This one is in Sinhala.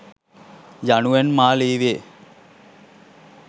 යනුවෙන් මා ලීවේ